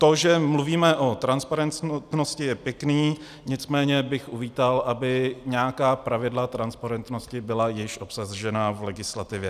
To, že mluvíme o transparentnosti, je pěkné, nicméně bych uvítal, aby nějaká pravidla transparentnosti byla již obsažena v legislativě.